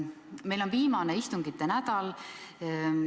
Meil on viimane istungite nädal.